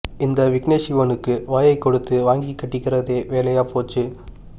இந்த விக்னேஷ் சிவனுக்கு வாயைக் கொடுத்து வாங்கிக் கட்டிக்கிறதே வேலையாப் போச்சு